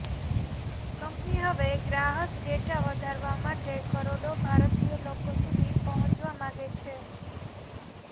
company હવે ગ્રાહસ data વધારવા માટે કરોડો ભારતીય લોકો સુધી પહોંચવા માગે છે